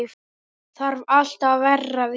Þarf alltaf að vera vín!